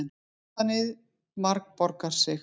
Metanið margborgar sig